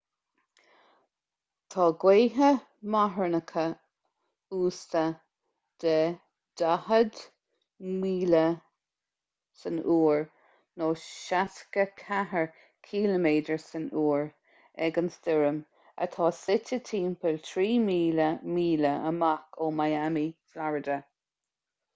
tá gaotha marthanacha uasta de 40 mph 64 ksu ag an stoirm atá suite timpeall 3,000 míle amach ó miami florida